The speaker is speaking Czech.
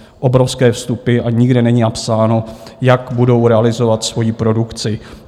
Obrovské vstupy a nikde není napsáno, jak budou realizovat svoji produkci.